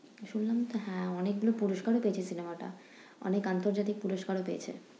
শুনলাম তো হ্যাঁ অনেকগুলো পুরষ্কার ও পেয়েছে cinema টা, অনেক আন্তর্জাতিক পুরষ্কার ও পেয়েছে।